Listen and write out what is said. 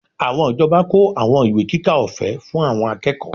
Àwọn ìjọba kó àwọn ìwé kíkà ọ̀fẹ́ fún àwọn akẹ́kọ̀ọ́